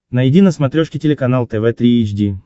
найди на смотрешке телеканал тв три эйч ди